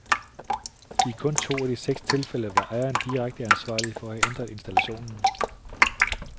I kun to af de to seks tilfælde var ejeren direkte ansvarlig ved at have ændret installationen.